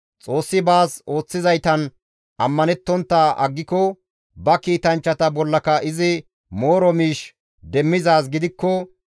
Xoossi baas ooththizaytan ammanettontta aggiko, ba kiitanchchata bollaka izi mooro miish demmizaaz gidikko,